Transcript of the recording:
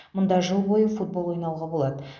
мұнда жыл бойы футбол ойнауға болады